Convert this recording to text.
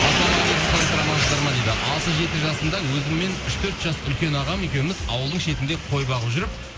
ассалаумағалейкум қалайсыздар амансыздар ма дейді алты жеті жасымда өзімнен үш төрт жас үлкен ағам екеуіміз ауылдың шетінде қой бағып жүріп